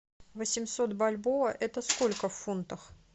восемьсот бальбоа это сколько в фунтах